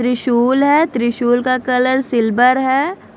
त्रिशूल है त्रिशूल का कलर सिल्वर है।